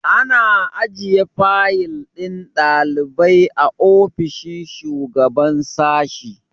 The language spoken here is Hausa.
Ana ajiye fayil ɗin ɗalibai a ofishin shugaban sashi